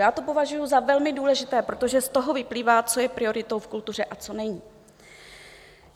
Já to považuji za velmi důležité, protože z toho vyplývá, co je prioritou v kultuře a co není.